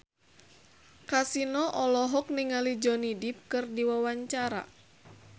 Kasino olohok ningali Johnny Depp keur diwawancara